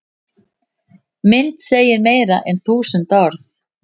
Mynd segir meira en þúsund orð